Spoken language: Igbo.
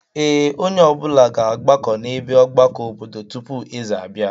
Ee, onye ọbụla ga-agbakọ n'ebe ọgbakọ obodo tupu eze abịa.